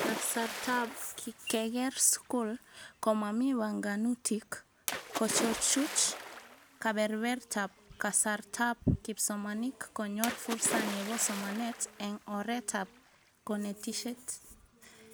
Kasartaab keker skul, komami banganutik, kochuchuch kebebertaab kasartaab kipsomanink konyor fursa nebo somanet eng oretab konetishet